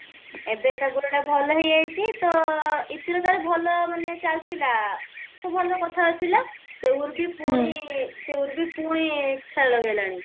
ତ ଏବେ ତା ଗୋଡଟା ଭଲ ହେଇଯାଇଛି ତ ଇତିର ତାର ଭଲ ମାନେ ଚାଲିଥିଲା ସବୁ ଭଲ କଥା ଥିଲା ସେ ଊର୍ବି ପୁଣି ସେ ଊର୍ବି ପୁଣି ଖେଳ ଲଗେଇଲାଣି